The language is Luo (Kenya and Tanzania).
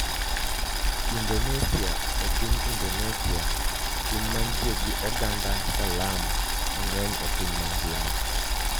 Indonesia E piny Indonesia - piny mantie gi oganda Salam mang'eny e piny mangima -